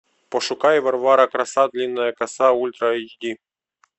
пошукай варвара краса длинная коса ультра айч ди